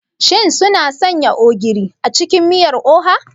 Shin sun sanya ogiri a cikin miyar oha?